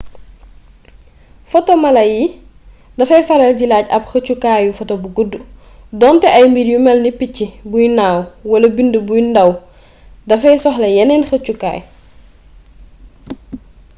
foto mala yi dafay faral di laaj ab xëccukaayu foto bu guddu donte ay mbir yu malni picc buy naaw wala bind bu ndàw dafay soxla yeneen xëccukaay